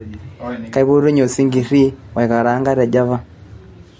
kaipotunye osinkiri oikaraanga te java